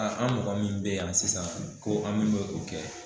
An an mɔgɔ min bɛ yan sisan ko an min m'o kɛ